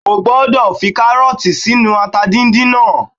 O gbọ́dọ̀ fi kárọ̀tì sínú ata díndín náà